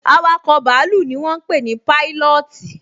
Awakọ̀ bàálù ni wọ́n ń pé ní Pailọọti